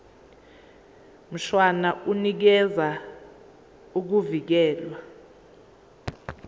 mshwana unikeza ukuvikelwa